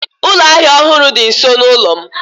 Ụlọ ahịa ọhụrụ dị nso n'ụlọ m.